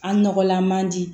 An nɔgɔlan man di